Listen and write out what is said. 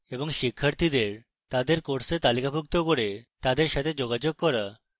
শিক্ষার্থীদের তাদের course তালিকাভুক্ত করে তাদের সাথে যোগাযোগ করা